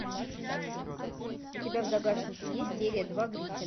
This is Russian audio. у тебя в загашнике есть серия два гриффины